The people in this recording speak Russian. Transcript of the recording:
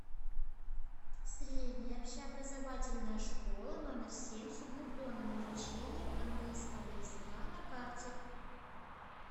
средняя общеобразовательная школа номер семь с углубленным изучением английского языка на карте